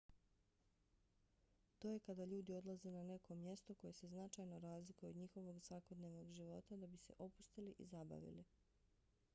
to je kada ljudi odlaze na neko mjesto koje se značajno razlikuje od njihovog svakodnevnog života da bi se opustili i zabavili